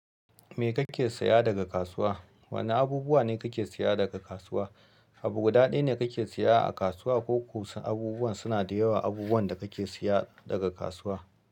Me kake saya daga kasuwa? Wane abubuwa ne kake saya daga kasuwa? Abu guda ɗaya ne kake siya a kasuwa ko kuma abubuwan suna da yawa abubuwan da kake siya daga kasuwa?